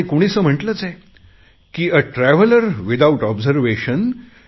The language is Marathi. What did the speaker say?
आणि कुणीसे म्हटलेच आहे आ ट्रॅव्हलर विथआउट ऑब्झर्वेशन